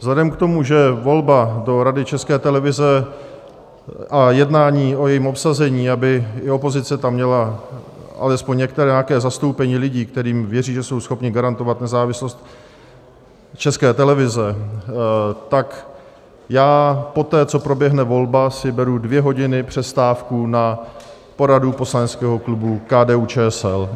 Vzhledem k tomu, že volba do Rady České televize a jednání o jejím obsazení, aby i opozice tam měla alespoň některé nějaké zastoupení lidí, kterým věří, že jsou schopni garantovat nezávislost České televize, tak já poté, co proběhne volba, si beru dvě hodiny přestávku na poradu poslaneckého klubu KDU-ČSL.